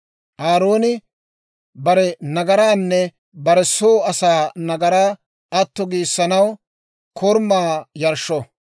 Aarooni bare nagaraanne bare soo asaa nagaraa atto giissanaw korumaa yarshsho.